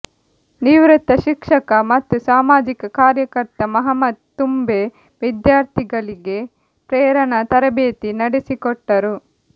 ನಿವೃತ ಶಿಕ್ಷಕ ಮತ್ತು ಸಾಮಾಜಿಕ ಕಾರ್ಯಕರ್ತ ಮುಹಮ್ಮದ್ ತುಂಬೆ ವಿದ್ಯಾರ್ಥಿಗಳಿಗೆ ಪ್ರೇರಣಾ ತರಬೇತಿ ನಡೆಸಿಕೊಟ್ಟರು